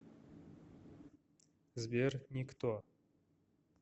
сбер никто